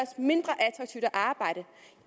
skal at arbejde